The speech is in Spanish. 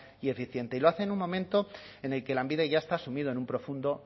y eficiente y lo hace en un momento en el que lanbide ya está sumido en un profundo